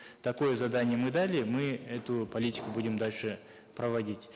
такое задание мы дали мы эту политику будем дальше проводить